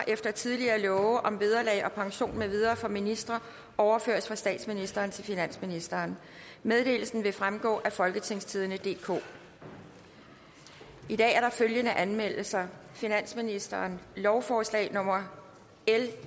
efter tidligere love om vederlag og pension med videre for ministre overføres fra statsministeren til finansministeren meddelelsen vil fremgå af folketingstidende DK i dag er der følgende anmeldelser finansministeren lovforslag nummer l